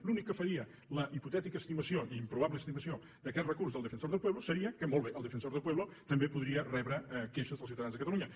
l’únic que faria la hipotètica estimació i improbable estimació d’aquest recurs del defensor del pueblo seria que molt bé el defensor del pueblo també podria rebre queixes dels ciutadans de catalunya